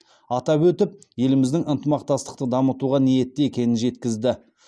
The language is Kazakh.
атап өтіп еліміздің ынтымақтастықты дамытуға ниетті екенін жеткізді